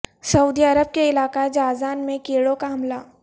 سعودی Arab کے علاقہ Jazan میں کیڑوں کا حملہ